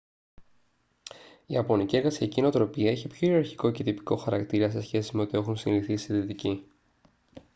η ιαπωνική εργασιακή νοοτροπία έχει πιο ιεραρχικό και τυπικό χαρακτήρα σε σχέση με ό,τι έχουν συνηθίσει οι δυτικοί